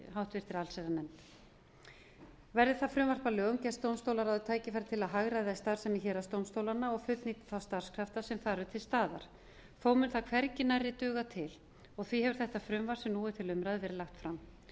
háttvirta allsherjarnefnd verði það frumvarp að lögum gefst dómstólaráði tækifæri til að hagræða í starfsemi héraðsdómstólanna og fullnýta þá starfskrafta sem þar eru til staðar þó mun það hvergi nærri duga til og því hefur þetta frumvarp sem nú er til umræðu verið lagt fram